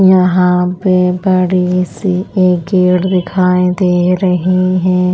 यहाँ पे बड़ी सी एक गेट दिखाई दे रही है।